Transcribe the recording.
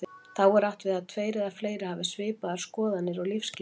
Þá er átt við tveir eða fleiri hafi svipaðar skoðanir og lífsskilning.